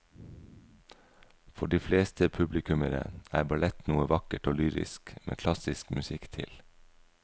For de fleste publikummere er ballett noe vakkert og lyrisk med klassisk musikk til.